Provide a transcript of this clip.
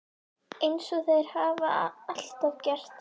Eins og þeir hafa alltaf gert.